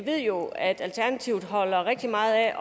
ved jo at alternativet holder rigtig meget af